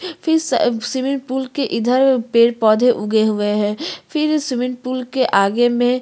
फिर अ स स्विमिंग पूल के इधर पेड़-पौधे उगे हुए हैं फिर स्विमिंग पूल के आगे में--